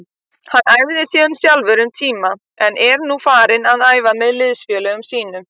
Hann æfði síðan sjálfur um tíma en er nú farinn að æfa með liðsfélögum sínum.